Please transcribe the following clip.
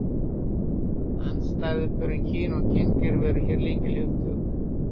Andstæðupörin kyn og kyngervi eru hér lykilhugtök.